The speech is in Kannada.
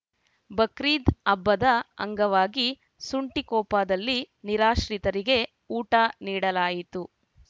ಬಕ್ರೀದ್‌ ಹಬ್ಬದ ಅಂಗವಾಗಿ ಸುಂಟಿಕೊಪದಲ್ಲಿ ನಿರಾಶ್ರಿತರಿಗೆ ಊಟ ನೀಡಲಾಯಿತು